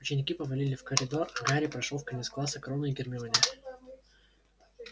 ученики повалили в коридор а гарри прошёл в конец класса к рону и гермионе